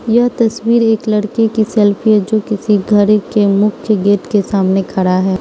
यह तस्वीर एक लड़के की सेल्फी है जो किसी घर के मुख्य गेट के सामने खड़ा है।